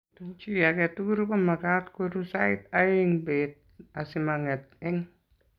chii age tugul komagaat koruu sait aeng beet asimangeet eng